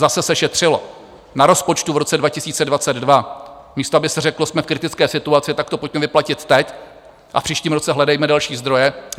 Zase se šetřilo na rozpočtu v roce 2022, místo aby se řeklo: Jsme v kritické situaci, tak to pojďme vyplatit teď a v příštím roce hledejme další zdroje.